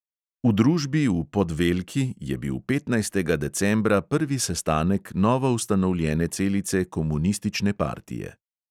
V družbi v podvelki je bil petnajstega decembra prvi sestanek novo ustanovljene celice komunistične partije.